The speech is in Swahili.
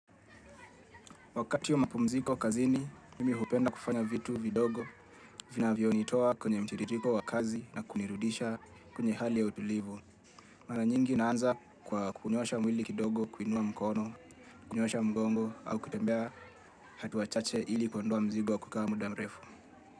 Wakati wa mapumziko kazini, nimi hupenda kufanya vitu vidogo vinavyonitoa kwenye mtiririko wa kazi na kunirudisha kwenye hali ya utulivu. Mara nyingi na anza kwa kunyoosha mwili kidogo, kuinua mkono, kunyoosha mgongo au kutembea hatua chache ili kuondoa mzigo wa kukaa muda mrefu.